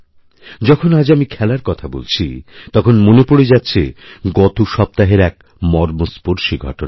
যখন আজ আমি খেলার কথাবলছি তখন মনে পড়ে যাচ্ছে গত সপ্তাহের এক মর্মস্পর্শী ঘটনা